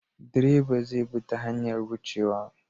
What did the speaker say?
Direba zai bi ta hanyar wucewa.